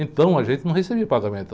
Então a gente não recebia pagamento.